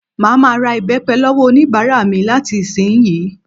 Màá ma ra ìbẹ́pẹ lọ́wọ́ oníbàárà mi láti ìsiǹyí